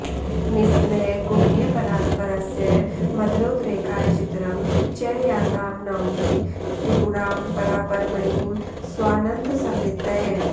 निस्त्रैगुण्यपरात्परस्य मदनोद्रेकाय चित्रं च या तां नौमि त्रिपुरां परापरमयीं स्वानन्दसंवित्तये